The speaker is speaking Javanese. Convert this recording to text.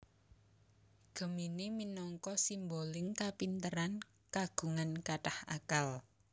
Gemini minangka simboling kapinteran kagungan kathah akal